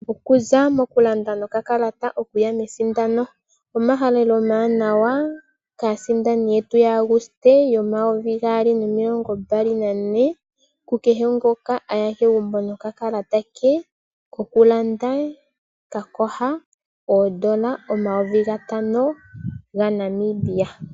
Okuza okulanda nokakalata okuya mesindano. Omahalelo omawanawa kaasindani yetu ya Aguste 2024, ku kehe ngoka a ya kegumbo nokakalata ke kokulanda ka koha oondola omayovi gatano gaNamibia.